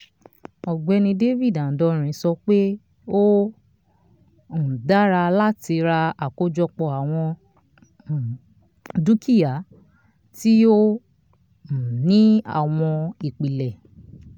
ọ̀gbẹ́ni david adonri sọ pé ó um dára láti ra àwọn àkójọpọ̀ um dúkíà tí ó um ní àwọn ìpìlẹ̀